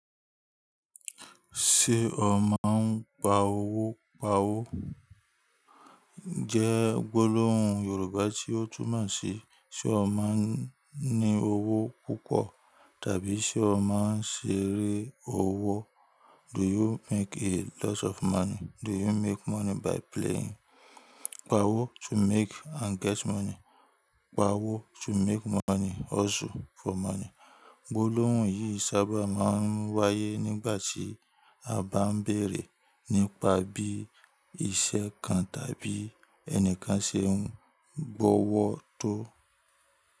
Ṣé o máa ń pa owó pa’wó? Jẹ́ gbólóhùn Yorùbá tí ó túnmọ̀ sí, ṣe o máa ń ní owó púpọ̀? Tàbí ṣe o máa ń ṣeré owó? Do you make a lot of money? Do you make money by playing? Pa’wó, to make and get money. Pa’wó, to make money, hustle for money. Gbólóhùn yìí sábà máa ń wáyé nígbà tí à bá ń bèèrè nípa bí iṣẹ́ kan tàbí ẹnìkan ṣe ń gbọ́wọ́ tó.